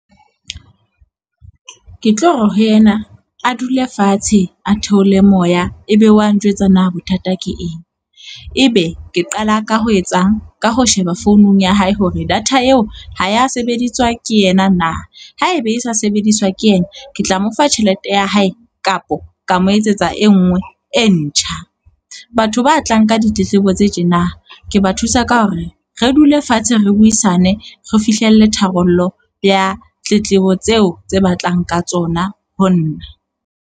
Ke tlo re ho yena a dule fatshe, a theole moya e be wa njwetsa na bothata ke eng. Ebe ke qala ka ho etsang? Ka ho sheba founung ya hae hore data eo ha ya sebediswa ke yena na. Haebe e sa sebediswa ke yena, ke tla mo fa tjhelete ya hae kapa ka mo etsetsa e nngwe e ntjha. Batho ba tlang ka ditletlebo tse tjena ke ba thusa ka hore re dule fatshe re buisane, re fihlelle tharollo ya tletlebo tseo tse batlang ka tsona ho nna.